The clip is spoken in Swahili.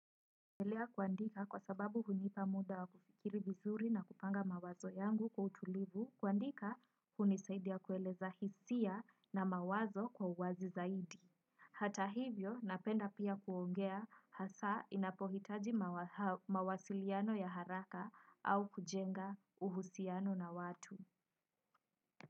Napendelea kuandika kwa sababu hunipa muda wa kufikiri vizuri na kupanga mawazo yangu kwa utulivu kuandika hunisaidia kueleza hisia na mawazo kwa uwazi zaidi. Hata hivyo napenda pia kuongea hasa inapohitaji mawasiliano ya haraka au kujenga uhusiano na watu.